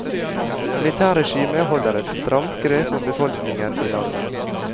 Militærregimet holder et stramt grep om befolkningen i landet.